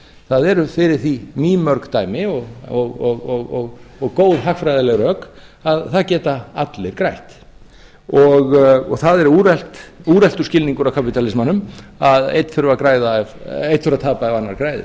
það eru fyrir því mýmörg dæmi og góð hagfræðileg rök að það geta allir grætt það er úreltur skilningur að kapítalismanum að einn þurfi að tapa ef annar græðir